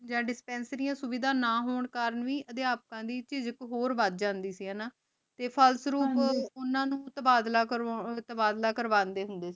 ਯਾਨ ਦਿਸ੍ਪੇੰਸਿਰਿਯਾਂ ਸੁਵਿਧਾ ਨਾ ਹੋਣ ਕਰਨ ਵੀ ਅਧ੍ਯਾਪਕ ਲੈ ਇਜ੍ਜ਼ਤ ਹੋਰ ਵਾਦ ਜਾਂਦੀ ਸੀ ਹਾਨਾ ਤੇ ਪਹਲ ਸਰੋਪ ਓਨਾਂ ਨੂ ਤਬਾਦਲਾ ਕਰ੍ਵਾੰਡੀ ਹੁੰਦੇ ਸੀ